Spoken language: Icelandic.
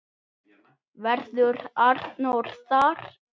Verður Arnór þar?